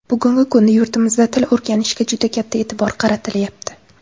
Bugungi kunda yurtimizda til o‘rganishga juda katta e’tibor qaratilyapti.